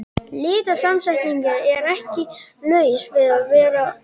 Litasamsetningin er ekki laus við að vera sláandi.